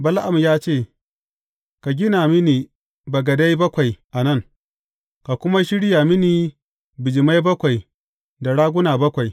Bala’am ya ce, Ka gina mini bagadai bakwai a nan, ka kuma shirya mini bijimai bakwai da raguna bakwai.